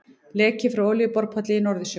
Leki frá olíuborpalli í Norðursjó.